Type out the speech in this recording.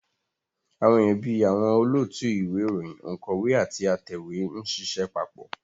Àwọn èèyàn bí àwọn olóòtú ìwé ìròyìn, ònkọ́wé àti atẹ̀wé ń ṣiṣẹ́ papọ̀